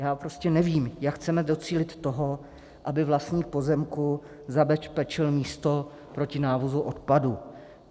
Já prostě nevím, jak chceme docílit toho, aby vlastník pozemku zabezpečil místo proti návozu odpadu.